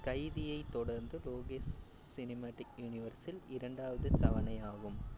கைதியை தொடர்ந்து Lokesh cinematic universe ல் இரண்டாவது தவணை ஆகும்.